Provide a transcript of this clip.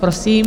Prosím.